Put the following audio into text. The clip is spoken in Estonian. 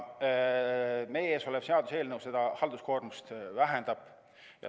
Meie ees olev seaduseelnõu seda halduskoormust vähendab.